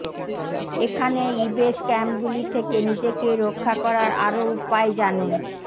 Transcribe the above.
এখানে ইবে স্ক্যামগুলি থেকে নিজেকে রক্ষা করার আরও উপায় জানুন